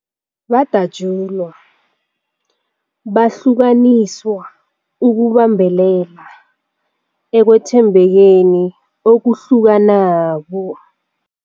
Badatjulwa, bahlukaniswa ukubambelela ekwethembekeni okuhlukanako.